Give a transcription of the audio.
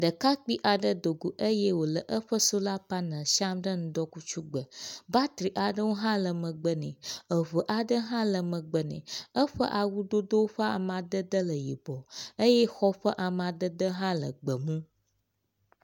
Ɖekakpui aɖe dogo eye wòle eƒe solar panel siam ɖe ŋdɔkutsugbe, batteri aɖewo hã le megbe ne, eŋe aɖewo hãle megbe nɛ eƒe awudodo ƒe amadede le yibɔ eye xɔ ƒe amadede hãle gbe mu.